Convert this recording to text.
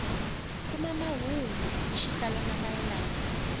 kuma mahungu hi xitalo mayelana